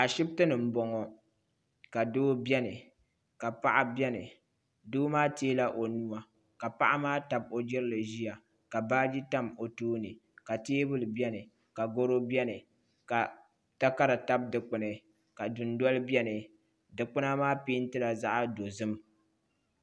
Ashibiti ni m-bɔŋɔ ka doo beni ka paɣa beni doo maa teela o nuu ka paɣa maa tabi o jirili ʒiya ka baaji tam o tooni ka teebuli beni ka garo beni ka takara tabi dukpuni ka dundoli beni dukpuna maa peentila zaɣ'dozim.